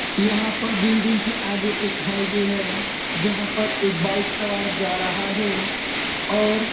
यहां पर बिल्डिंग के आगे एक हाइवे है जहाँ पर एक बाइक सवार जा रहा हे और --